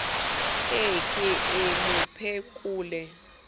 e ke e mo phekole